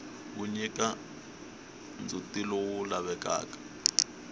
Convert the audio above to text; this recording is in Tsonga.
wu nyika ndzhutilowu lavekaka